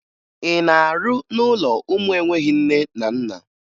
Ị na-arụ n'ụlọ ụmụ enweghi nne na nna?